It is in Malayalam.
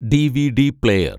DVD player‍